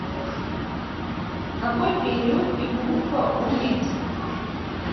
какой период и группа у медь